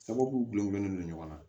Sababu gulɔ gulɔ bɛ don ɲɔgɔn na